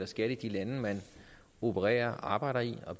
skat i de lande man opererer og arbejder i og